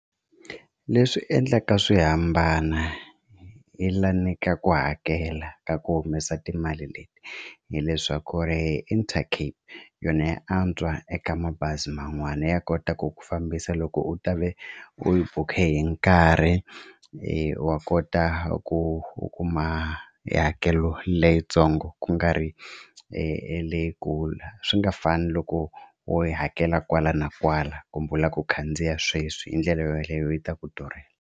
Leswi endlaka swihambana hi la ka ku hakela ka ku humesa timali leti hileswaku ri Intercape yona ya antswa eka mabazi man'wani ya kota ku ku fambisa loko u ta ve u yi bukhe hi nkarhi wa kota ku u kuma hakelo leyintsongo ku nga ri leyikulu swi nga fani loko wo yi hakela kwala na kwala kumbe u lava ku khandziya sweswi hi ndlela yaleyo yi ta ku durhela.